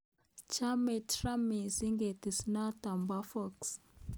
Chame Trump missing ketesyento bo Fox